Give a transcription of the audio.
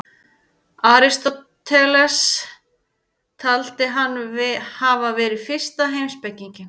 Aristóteles taldi hann hafa verið fyrsta heimspekinginn.